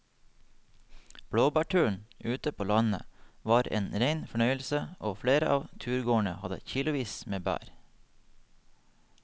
Blåbærturen ute på landet var en rein fornøyelse og flere av turgåerene hadde kilosvis med bær.